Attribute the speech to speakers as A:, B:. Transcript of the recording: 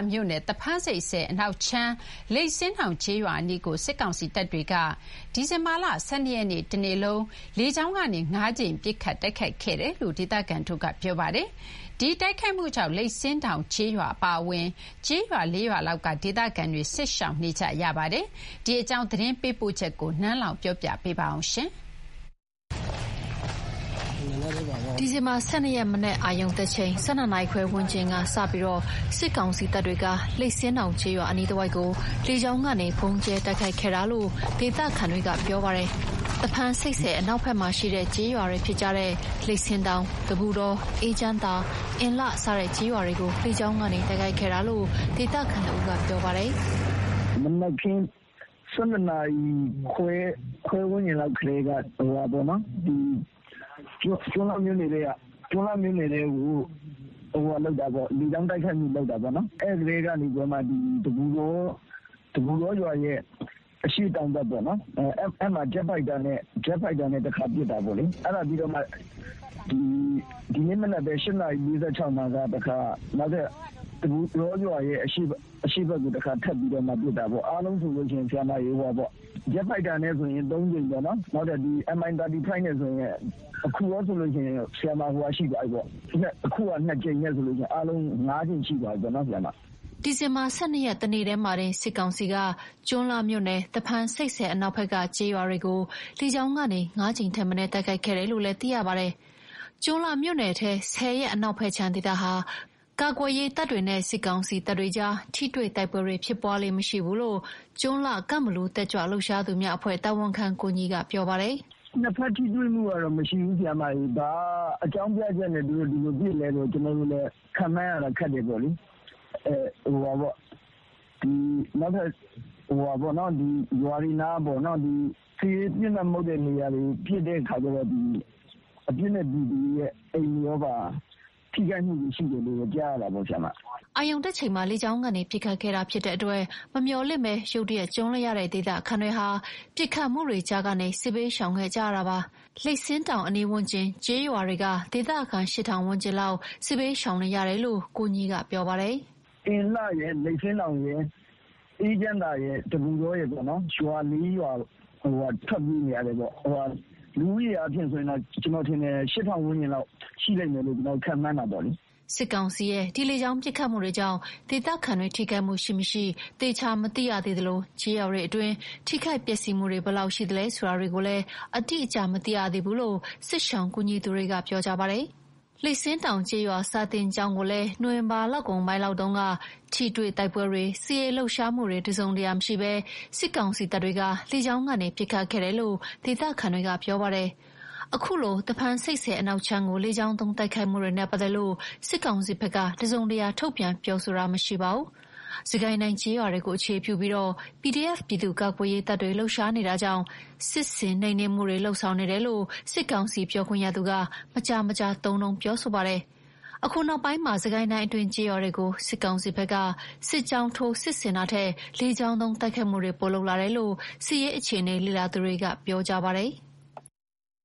A: မြို့နယ် သဖန်းဆိပ်ဆည်အနောက်ခြမ်း လိပ်ဆင်းတောင် ကျေးရွာအနီးကို စစ်ကောင်စီတပ်တွေက ဒီဇင်ဘာ ၁၂ ရက်နေ့ တနေ့လုံး လေကြောင်းကနေ ၅ ကြိမ် ပစ်ခတ် တိုက်ခိုက်ခဲ့တယ်လို့ ဒေသခံတွေက ပြောပါတယ်။ ဒီတိုက်ခိုက်မှုကြောင့် လိပ်ဆင်းတောင်ကျေးရွာအပါအဝင် ကျေးရွာ ၄ ရွာလောက်က ဒေသခံတွေ စစ်ရှောင်နေကြရပါတယ်။ ဒီအကြောင်း သတင်းပေးပိုချက်ကို နန်းလောဝ်က တင်ပြပေးထားပါတယ်။ ဒီဇင်ဘာ ၁၂ ရက် မနက် အာရုံတက်ချိန် ၁၂ နာရီခွဲ ဝန်းကျင်က စပြီး စစ်ကောင်စီတပ်တွေက လိပ်ဆင်းတောင်ကျေးရွာ အနီးတဝိုက်ကို လေကြောင်းကနေ ဗုံးကြဲတိုက်ခိုက်ခဲ့ကြောင်း ဒေသခံတွေကပြောပါတယ်။ သဖန်းဆိပ်ဆည် အနောက်ဘက်က လိပ်ဆင်းတောင်၊ တပုတော၊ အေးချမ်းသာ၊ အင်လှ စတဲ့ ကျေးရွာတွေကို လေကြောင်းကနေ တိုက်ခိုက်ခဲ့တာလို့ ဒေသခံတဦးက ပြောပါတယ်။
B: “မနက်ခင်း ၁၂ နာရီခွဲ ဝန်းကျင်တည်းကပေါ့နော် ကျွန်းလှမြို့နယ်ထဲကို လေကြောင်းတိုက်ခိုက်မှု လုပ်တာပေါ့။ အဲ့ကတည်းကနေပြီးတော့မှ တပုတောရွာရဲ့ အရှေ့တောင်ဘက် အဲ့ဒီကို ဂျက်ဖိုက်တာနဲ့ တခါပစ်တာပေါ့လေ။ ဒီမနက်ပဲ ၈ နာရီ ၄၆ မှာ နောက်ထပ် တပုတောရွာရဲ့ အရှေ့ဘက်ကိုပဲ တခါ ထပ်ပစ်တာပေါ့။ အားလုံးဆိုရင် ဂျက်ဖိုက်တာနဲ့ ၃ ကြိမ်၊ နောက်ထပ် Mi 35 နဲ့ဆိုရင် အခု ၃ ကြိမ်နဲ့ဆိုရင် အားလုံး ၅ ကြိမ် ရှိသွားပြီပေါ့။
A: ” ဒီဇင်ဘာ ၁၂ ရက် တနေ့တည်းမှာတင် စစ်ကောင်စီက ကျွန်းလှမြို့နယ် သဖန်ဆိပ်ဆည်အနောက်ဘက်က ကျေးရွာတွေကို လေကြောင်းကနေ ၅ ကြိမ်ထက်မနည်း တိုက်ခိုက်ခဲ့တယ်လို့ သိရပါတယ်။ ကျွန်းလှမြို့နယ်ထဲ ဆည်ရဲ့ အနောက်ဘက်ခြမ်းဒေသဟာ ကာကွယ်ရေးတပ်တွေနဲ့ စစ်ကောင်စီတပ်တွေကြား ထိတွေ့တိုက်ပွဲတွေ ဖြစ်ပွားလေ့မရှိ ဘူးလို့ ကျွန်းလှ- ကန့်ဘလူ တက်ကြွလှုပ်ရှားသူများအဖွဲ့ တာဝန်ခံ ကိုညီက ပြောပါတယ်။
B: “နှစ်ဘက်ထိတွေ့မှုကတော့ မရှိဘူး၊ ဘာအကြောင်းပြချက်နဲ့ သူတို့ ဒီလိုပစ်သလဲဆိုတာတော့ ကျနော်တို့ခန့်မှန်းရတာ ခက်တယ်ပေါ့လေ။ ဒီလို နောက်ထပ်ရွာတွေနားပေါ့။ စစ်ရေးပစ်မှတ် မဟုတ်တဲ့နေရာတွေကို ပစ်တဲ့ခါကျတော့ အပြစ်မဲ့ ပြည်သူတွေရဲ့အိမ်တွေပါ ထိခိုက်တာတွေရှိတယ်လို့တော့ ကြားရတာပေါ့။
A: ” အာရုံတက်ချိန်မှာ လေကြောင်းကနေ ပစ်ခတ်ခဲ့တာဖြစ်တဲ့အတွက် မမျှော်လင့်ဘဲ ရုတ်တရက် ကြုံလိုက်ရတဲ့ဒေသခံတွေဟာ ပစ်ခတ်မှုတွေကြားကနေ စစ်ဘေးရှောင်ခဲ့ကြရတာဖြစ်ပါတယ်။ လိပ်ဆင်းတောင် အနီးဝန်းကျင်ကျေးရွာတွေက ဒေသခံ ၈,၀၀၀ ဝန်းကျင်လောက် စစ်ဘေးရှောင်နေရတယ်လို့ ကိုညီက ပြောပါတယ်။ “အင်လှ
B: ရယ်၊ လိပ်ဆင်းတောင်ရယ်၊ အေးချမ်းသာရယ်၊ တပုတောရယ်ပေါ့နော်။ ရွာ ၄ ရွာလောက်က ထွက်ပြေနေရတယ်ပေါ့။ လူဦးရေဆိုရင်တော့ ကျနော်ထင်တယ်။ ၈,၀၀၀ ဝန်းကျင်လောက် ရှိလိမ့်မယ်လို့ ကျနော်တို့ ခန့်မှန်းတယ်ပေါ့။
A: ” စစ်ကောင်စီရဲ့ ဒီလေကြောင်းပစ်ခတ်မှုကြောင့် ဒေသခံတွေ ထိခိုက်မှုရှိမရှိ သေချာမသိရသေးသလို ကျေးရွာတွေအတွင်း ထိခိုက်ပျက်စီးမှုတွေ ဘယ်လောက်ရှိသလဲဆိုတာတွေကိုလည်း အတိအကျ မသိရသေးဘူးလို့ စစ်ရှောင်ကူညီသူတွေက ပြောကြပါတယ်။ စစ်ကောင်စီတပ်တွေဟာ လိပ်ဆင်းတောင်ကျေးရွာ စာသင်ကျောင်းကိုလည်း နိုဝင်ဘာလကုန်ပိုင်းလောက်တုန်းက ထိတွေ့တိုက်ပွဲတွေ၊ စစ်ရေးလှုပ်ရှားမှုတွေ တစုံတရာ မရှိဘဲ လေကြောင်းကနေ ပစ်ခတ်ခဲ့တယ်လို့ ဒေသခံတွေကပြောပါတယ်။ အခုလို သဖန်းဆိပ်ဆည်အနောက်ခြမ်းကို လေကြောင်းသုံးတိုက်ခိုက်မှုနဲ့ပတ်သက်လို့ စစ်ကောင်စီဘက်က တစုံတရာထုတ်ပြန်ပြောဆိုတာမရှိပါဘူး။ စစ်ကိုင်းတိုင်းကျေးရွာတွေကို အခြေပြုပြီး PDF ပြည်သူ့ကာကွယ်ရေးတပ်တွေ လှုပ်ရှားနေတာကြောင့် စစ်ဆင်နှိမ်နင်းမှုနေတယ်လို့ စစ်ကောင်စီပြောခွင့်ရသူက မကြာမကြာသုံးနှုန်းပြောဆိုပါတယ်။ အခုနောက်ပိုင်းမှာ စစ်ကိုင်းတိုင်းအတွင်း ကျေးရွာတွေကို စစ်ကောင်စီဘက်က စစ်ကြောင်းထိုး စစ်ဆင်တာထက်၊ လေကြောင်းသုံးတိုက်ခိုက်မှုတွေ ပိုလုပ်လာတယ်လို့ စစ်အခြေအနေလေ့လာသူတွေက ပြောကြပါတယ်။